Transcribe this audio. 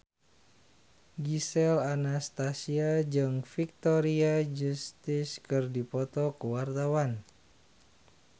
Gisel Anastasia jeung Victoria Justice keur dipoto ku wartawan